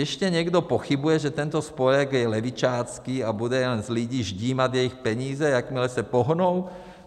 Ještě někdo pochybuje, že tento spolek je levičácký a bude jen z lidí ždímat jejich peníze, jakmile se pohnou?